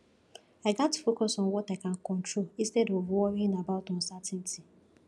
i gats focus on what i can control instead of worrying about uncertainty